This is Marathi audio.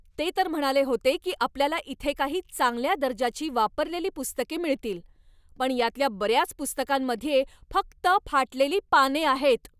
ते तर म्हणाले होते की आपल्याला इथे काही चांगल्या दर्जाची वापरलेली पुस्तके मिळतील, पण यातल्या बऱ्याच पुस्तकांमध्ये फक्त फाटलेली पाने आहेत.